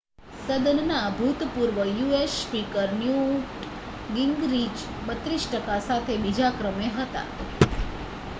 સદનનાં ભૂતપૂર્વ US speaker Newt Gingrich 32 ટકા સાથે બીજા ક્રમે આવ્યા